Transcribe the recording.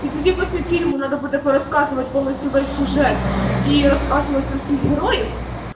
и тебе после фильма надо буду рассказывать полностью весь сюжет и рассказывает про супергероев